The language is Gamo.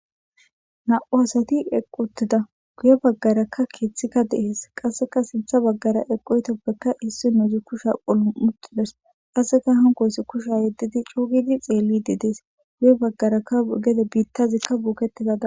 Na7u asati eqottida guye baggarakka keeththikka dees qasseka sintha baggara eqoytoppeka hissi nouzi kusha qolu muxides qasseka hanqoysi kusha yeddidi cuugidi xeelli di dees guye baggarakka gede biittazikka buuketizada.